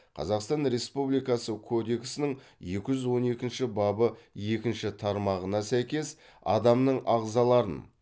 қазақстан республикасы кодексінің екі жүз он екінші бабы екінші тармағына сәйкес адамның ағзаларын